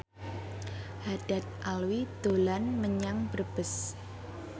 Haddad Alwi dolan menyang Brebes